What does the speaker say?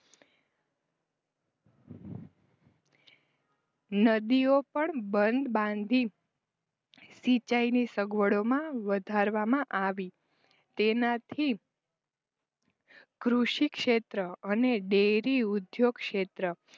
નદીઓ પણ બાંધી સિંચાઇની સગવડમાં વધારવામાં આવી તેનાથી કૃષિક્ષેત્ર અને ડેરીઉદ્યોગ ક્ષેત્ર